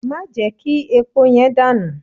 Má jẹ́ kí epo yẹn dànù!